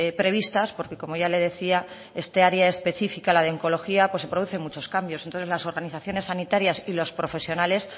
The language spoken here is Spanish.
previstas porque como ya le decía esta área específica de oncología pues se producen muchos cambios entonces las organizaciones sanitarias y los profesionales